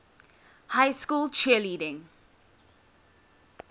high school cheerleading